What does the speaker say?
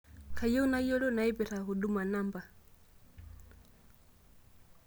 kayieu nayiolou nnaipirta huduma namba